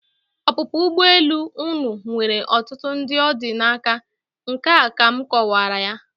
Ọpụpụ ụgbọelu unu nwere ọtụtụ ndị ọ dị n'aka, nke a ka m kọwara ya.